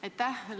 Aitäh!